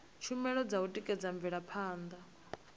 tshumelo dza u tikedza mvelaphanda